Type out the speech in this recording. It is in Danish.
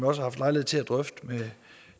har haft lejlighed til at drøfte med